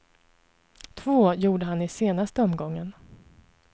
Två gjorde han i senaste omgången.